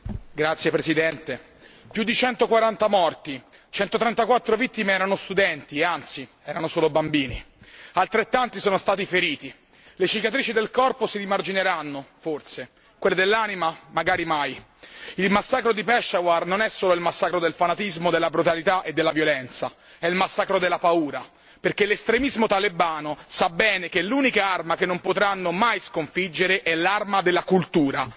Signor Presidente, onorevoli colleghi, più di 140 morti, 134 vittime erano studenti, anzi solo bambini, altrettanti sono stati feriti, le cicatrici del corpo si rimargineranno, forse, quelle dell'anima, magari mai! Il massacro di Peshawar non è solo il massacro del fanatismo, della brutalità e della violenza, è il massacro della paura, perché l'estremismo talebano sa bene che l'unica arma che non potranno mai sconfiggere è l'arma della cultura.